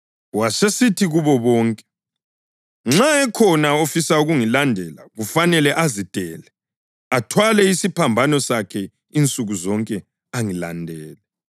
Wasesithi kubo bonke: “Nxa ekhona ofisa ukungilandela kufanele azidele athwale isiphambano sakhe insuku zonke angilandele.